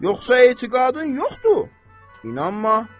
Yoxsa etiqadın yoxdur, inanma.